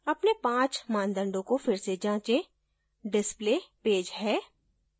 अपने 5 मानदंडों को फिर से जाँचें display page है